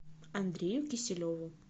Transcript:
андрею киселеву